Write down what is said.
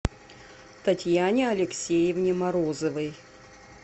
татьяне алексеевне морозовой